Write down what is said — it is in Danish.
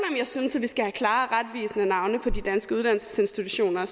jeg synes at vi skal have klare og retvisende navne på de danske uddannelsesinstitutioner